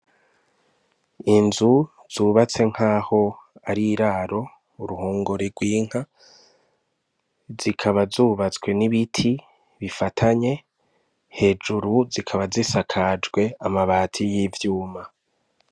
Inzu zubatse nkaho ar'iraro, uruhongore rw'inka, zikaba zubatswe n'ibiti bifatanye, hejuru zikaba zisakajwe amabati y'ivyuma.